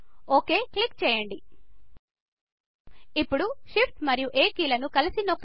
ఒక్ క్లిక్ చేయండి ఇప్పుడు షిఫ్ట్ మరియు A కీలను కలిసి నొక్కండి